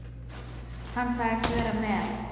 Hann sagðist vera með